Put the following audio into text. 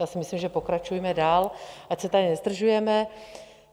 Já si myslím, že pokračujme dál, ať se tady nezdržujeme.